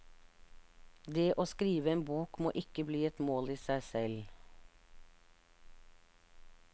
Det å skrive en bok må ikke bli et mål i seg selv.